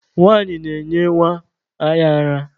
Nwanyị na-enye nwa ya ara.